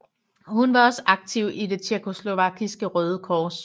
Hun var også aktiv i Det Tjekkoslovakiske Røde Kors